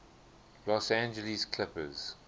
los angeles clippers